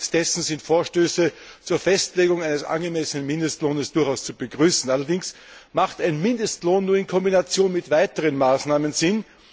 Angesichts dessen sind Vorstöße zur Festlegung eines angemessenen Mindestlohns durchaus zu begrüßen. Allerdings macht ein Mindestlohn nur in Kombination mit weiteren Maßnahmen Sinn.